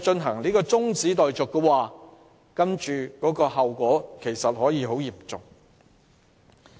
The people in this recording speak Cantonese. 由此可見，中止待續議案的後果其實可以很嚴重。